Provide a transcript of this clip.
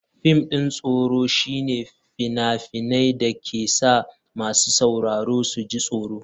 Fim ɗin tsoro shine fina-finan da ke sa masu sauraro su ji tsoro.